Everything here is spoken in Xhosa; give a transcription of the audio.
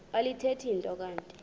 alithethi nto kanti